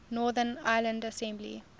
northern ireland assembly